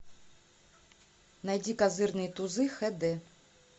найди козырные тузы хд